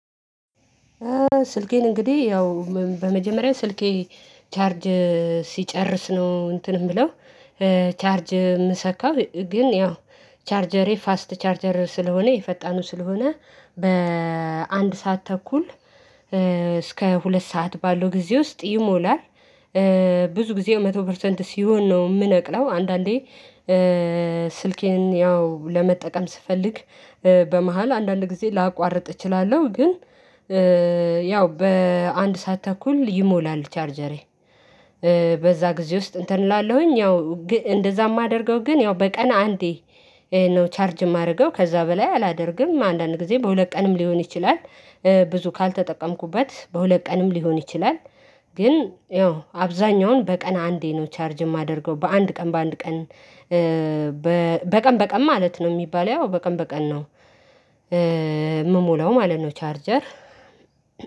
ስልኬን እንግዲህ ያው በመጀመሪያ ስልኬ ቻርጅ ሲጨርስ ነው እንትን ምለው ቻርጅ የምሰካው ግን ያው ቻርጀሬ ፋስት ቻርጀር ስለሆነ የፈጣኑ ስለሆነ በአንድ ሰዓት ተኩል እስከ ሁለት ሰዓት ባለው ጊዜ ውስጥ ይሞላል። ብዙ ጊዜ መቶ ፐርሰንት ሲሆን ነው የምነቅለው። አንዳንዴ ስልኬን ያው ለመጠቀም ስፈልግ። በመሃል አንዳንድ ጊዜ ላቋርጥ እችላለሁ ግን ያው በአንድ ሰዓት ተኩል ይሞላል ቻርጀሬ። በዛ ጊዜ ውስጥ እንትን እላለሁኝ ያው ግን እንደዛ ማደርገው ግን ያው በቀን አንዴ ነው ቻርጅ ማደርገው ከዛ በላይ አላደርግም። አንዳንድ ጊዜ በሁለት ቀንም ሊሆን ይችላል። ብዙ ካልተጠቀምኩበት በሁለት ቀንም ሊሆን ይችላል። ግን ያው አብዛኛውን በቀን አንዴ ነው ቻርጅ ማደርገው። በአንድ ቀን በአንድ ቀን በቀን በቀን ማለት ነው ሚባለው ያው በቀን በቀን ነው። ምሞላው ማለት ነው ቻርጀር።